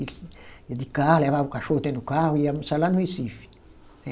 Iam de carro, levavam o cachorro até no carro e iam almoçar lá no Recife, né?